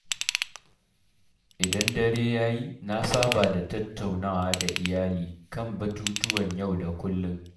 Idan dare ya yi, na saba da tattaunawa da iyali kan batutuwan yau da kullum.